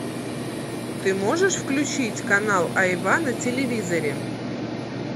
ты можешь включить канал айва на телевизоре